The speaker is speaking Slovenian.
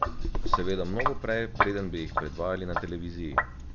Seveda mnogo prej, preden bi jih predvajali na televiziji.